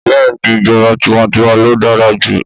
Bẹ́ẹ̀ni ìjọba tiwańtiwa lo dára jù.